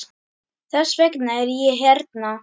Þess vegna er ég hérna.